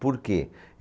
Por quê?